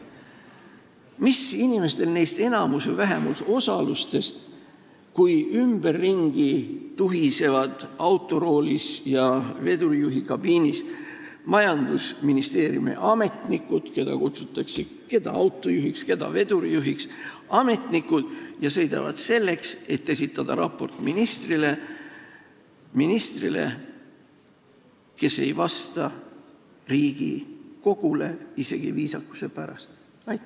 Mis inimestel neist enamus- või vähemusosalustest, kui ümberringi tuhisevad autoroolis ja piltlikult öeldes ka vedurijuhi kabiinis majandusministeeriumi ametnikud, ja tuhisevad selleks, et esitada raport ministrile, kes ei vasta Riigikogule isegi mitte viisakuse pärast!